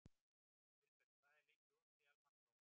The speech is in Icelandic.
Vilberg, hvað er lengi opið í Almannaróm?